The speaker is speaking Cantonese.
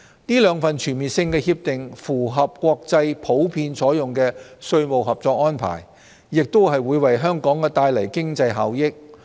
這兩份全面性協定符合國際普遍採用的稅務合作安排，也會為香港帶來經濟效益。